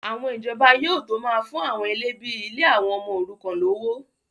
àwọn ìjọba yóò tó máa fún àwọn ilé bíi ilé àwọn ọmọ òrukàn lówó